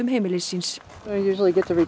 heimilis síns